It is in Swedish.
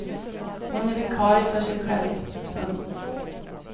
Hon är vikarie för sig själv. punkt